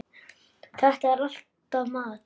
Þetta er alltaf mat.